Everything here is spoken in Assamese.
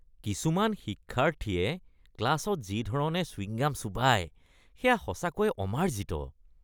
কিছুমান শিক্ষাৰ্থীয়ে ক্লাছত যি ধৰণে চুইংগাম চোবাই সেয়া সঁচাকৈয়ে অমাৰ্জিত।